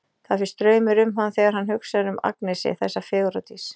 Það fer straumur um hann þegar hann hugsar um Agnesi, þessa fegurðardís.